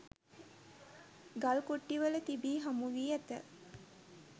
ගල්කුටිවල තිබී හමුවී ඇත.